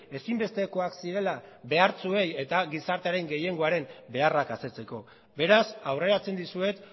ezinbestekoak zirela behartsuei eta gizartearen gehiengoaren beharrak asetzeko beraz aurreratzen dizuet